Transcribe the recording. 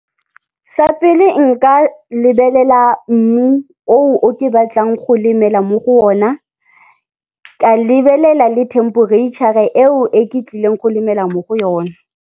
Sa pele nka lebelela mmu oo, o ke batlang go lemela mo go ona, ka lebelela le themperetšhara eo e ke tlileng go lemela mo go yona.